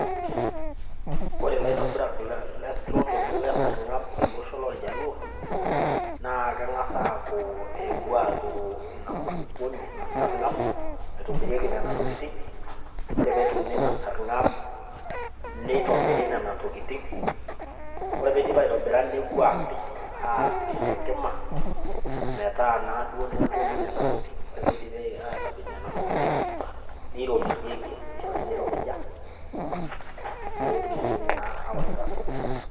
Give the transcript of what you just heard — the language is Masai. Kore laitobirak loo ntokitin e sarg'ab tele osho loljaluo, naa keng'as aaku kewuo aturu ina kulukuoni, ina sarng'ab, naitobirieki nena tokitin, ore peturuni ina sarng'ab, neitobiri nena tokitin, ore peidip aitobira newuo aapej tenkima, metaa naduo negollu nena tokitin. Ore peidipi atapej nena tokitin, neiropijieki, neishori meiropija peetumokini naa awaita sokoni.